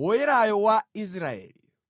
Woyerayo wa Israeli.